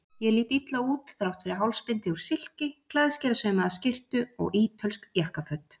Ég lít illa út, þrátt fyrir hálsbindi úr silki, klæðskerasaumaða skyrtu og ítölsk jakkaföt.